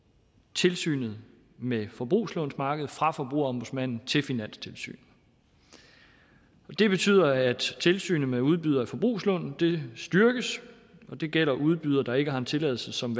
tilsynet med forbrugslånsmarkedet fra forbrugerombudsmanden til finanstilsynet det betyder at tilsynet med udbydere af forbrugslån styrkes og det gælder udbydere der ikke har en tilladelse som